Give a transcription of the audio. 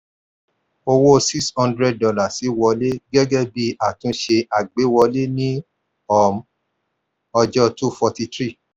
owó six hundred dollars wọlé gẹ́gẹ́ bí àtúnṣe àgbéwọlé ní um ọjọ́ two forty-three